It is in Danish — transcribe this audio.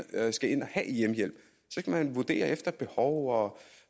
skal vurdere efter behov og